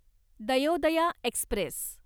Dayodaya Express